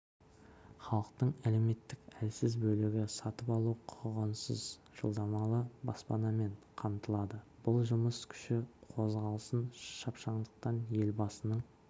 халықтың әлеуметтік әлсіз бөлігі сатып алу құқығынсыз жалдамалы баспанамен қамтылады бұл жұмыс күші қозғалысын шапшаңдатпақ елбасының